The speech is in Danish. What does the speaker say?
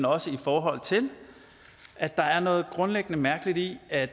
også i forhold til at der er noget grundlæggende mærkeligt i at